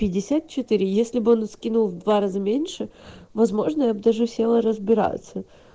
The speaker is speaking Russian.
пятьдесят четыре если бы он скинул в два раза меньше возможно я бы даже села разбираться